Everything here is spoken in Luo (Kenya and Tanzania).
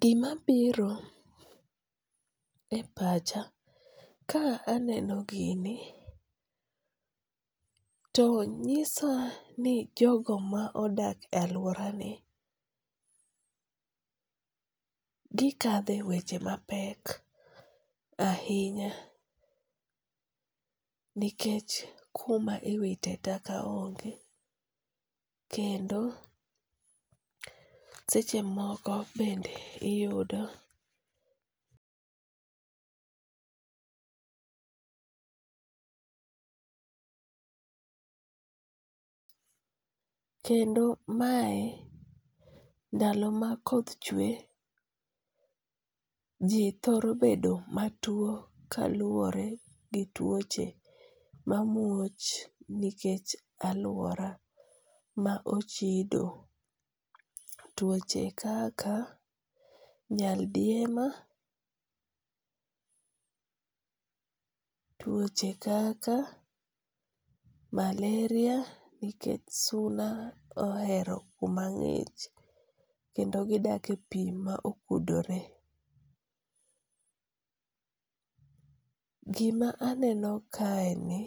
Gima biro e pacha ka aneno gini, to nyisa ni jogo ma odak e aluorani gikadhe e weche mapek ahinya, nikech kuma iwite taka onge kendo seche moko bende iyudo kendo mae ndalo ma koth chwe ji thoro bedo matwo kaluore gi tuoche mamuoch nikech aluora ma ochido, twoche kaka nyaldiema, twoche kaka maleria nikech suna ohero kuma ng'ich kendo gidakie pi ma okudore. gima aneno kaeni